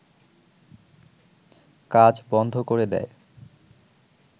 কাজ বন্ধ করে দেয়